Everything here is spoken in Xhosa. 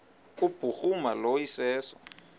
kubhuruma lo iseso